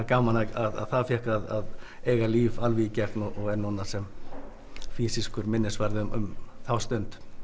gaman að það fékk að eiga líf alveg í gegn og er núna sem fýsískur minnisvarði um þá stund